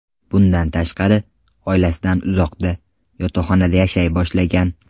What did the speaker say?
Bundan tashqari, oilasidan uzoqda, yotoqxonada yashay boshlagan.